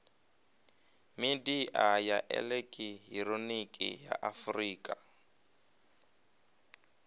midia ya elekihironiki ya afurika